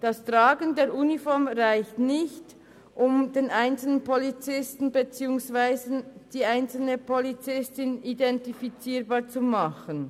Das Tragen der Uniform reicht nicht, um den einzelnen Polizisten beziehungsweise die einzelne Polizistin identifizierbar zu machen.